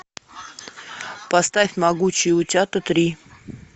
поставь могучие утята три